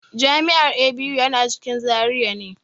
Jami'ar ABU yana cikin Zaria ne.